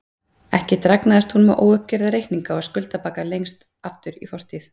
Ekki dragnaðist hún með óuppgerða reikninga og skuldabagga lengst aftur í fortíð.